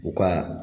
U ka